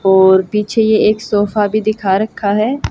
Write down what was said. और पीछे ये एक सोफा भी दिखा रखा है।